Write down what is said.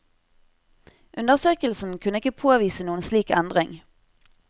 Undersøkelsen kunne ikke påvise noen slik endring.